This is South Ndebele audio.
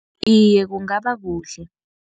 Iye, kungabakuhle.